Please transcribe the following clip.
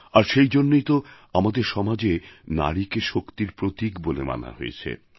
আর সেইজন্যেই তো আমাদের সমাজে নারীকে শক্তির প্রতীক বলে মানা হয়েছে